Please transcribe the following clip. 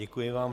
Děkuji vám.